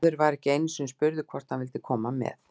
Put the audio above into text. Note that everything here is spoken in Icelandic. Maður var ekki einu sinni spurður hvort maður vildi koma með.